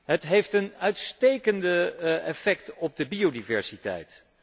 Het heeft een uitstekend effect op de biodiversiteit.